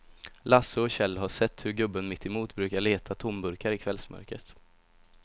Lasse och Kjell har sett hur gubben mittemot brukar leta tomburkar i kvällsmörkret.